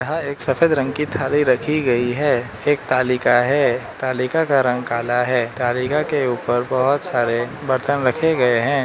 यह एक सफेद रंग की थाली रखी गई है एक तालिका है तालिका का रंग काला है तालिका के ऊपर बहोत सारे बर्तन रखे गए हैं।